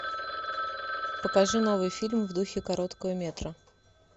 покажи новый фильм в духе короткого метра